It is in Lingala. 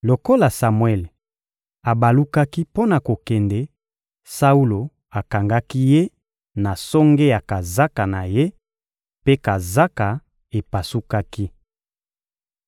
Lokola Samuele abalukaki mpo na kokende, Saulo akangaki ye na songe ya kazaka na ye, mpe kazaka epasukaki.